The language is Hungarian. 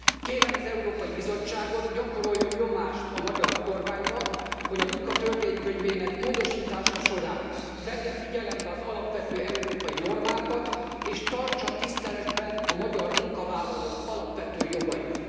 Kérem az Európai Bizottságot, gyakoroljon nyomást a magyar kormányra, hogy a Munka Törvénykönyvének módosítása során vegye figyelembe az alapvető európai normákat és tartsa tiszteletben a magyar munkavállalók alapvető jogait.